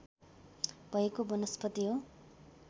भएको वनस्पति हो